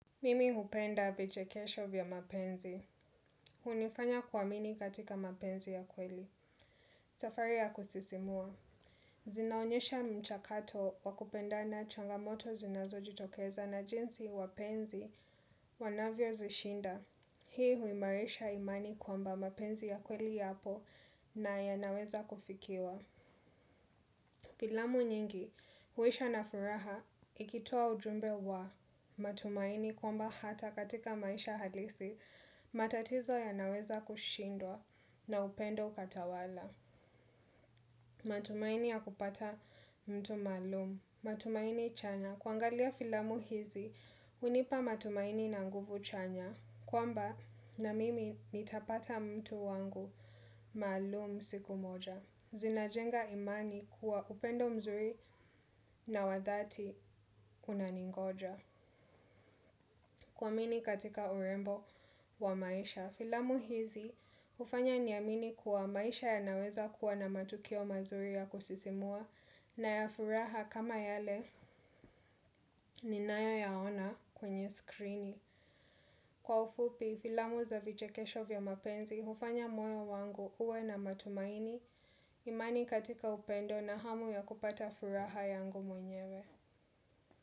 Mimi hupenda vichekesho vya mapenzi. Hunifanya kuamini katika mapenzi ya kweli. Safari ya kusisimua. Zinaonyesha mchakato wa kupendana changamoto zinazojitokeza na jinsi wapenzi wanavyozishinda. Hii huimaresha imani kwamba mapenzi ya kweli yapo na yanaweza kufikiwa. Filamu nyingi, huisha na furaha, ikitoa ujumbe wa matumaini kwamba hata katika maisha halisi, matatizo yanaweza kushindwa na upendo ukatawala. Matumaini ya kupata mtu maalum, matumaini chanya, kuangalia filamu hizi, hunipa matumaini na nguvu chanya, kwamba na mimi nitapata mtu wangu maalum siku moja. Zinajenga imani kuwa upendo mzuri na wa dhati unaningoja. Kuamini katika urembo wa maisha. Filamu hizi ufanya niamini kuwa maisha yanaweza kuwa na matukio mazuri ya kusisimua na ya furaha kama yale ninayoyaona kwenye skrini. Kwa ufupi, filamu za vichekesho vya mapenzi, ufanya moyo wangu uwe na matumaini, imani katika upendo na hamu ya kupata furaha yangu mwenyewe.